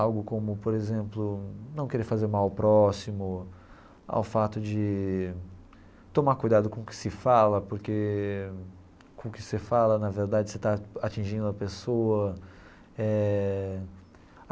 Algo como, por exemplo, não querer fazer mal ao próximo, ao fato de tomar cuidado com o que se fala, porque com o que você fala, na verdade, você está atingindo a pessoa eh.